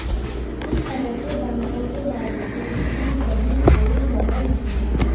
इस तरह से दंगों के बावजूद भी कहीं कोई लहर नहीं है